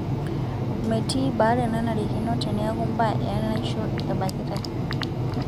Metii baare nanarikino teneeku mbaa enaisho ebakitai.